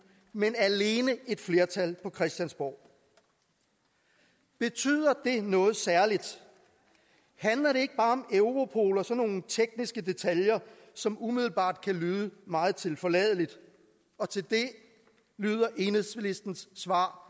men alene et flertal på christiansborg betyder det noget særligt handler det ikke bare om europol og så nogle tekniske detaljer som umiddelbart kan lyde meget tilforladeligt og til det lyder enhedslistens svar